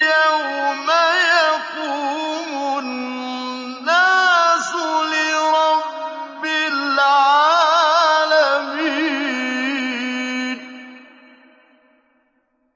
يَوْمَ يَقُومُ النَّاسُ لِرَبِّ الْعَالَمِينَ